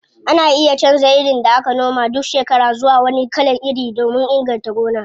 Ana iya canza irin da aka noma duk shekara zuwa wani kalan iri domin inganta gona.